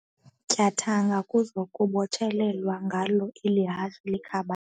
tyathanga kuzokubotshelelwa ngalo eli hashe likhabayo.